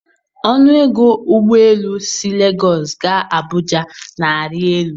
Ọnụ ego ụgbọ elu si Legọs gaa Abụja na-arị elu.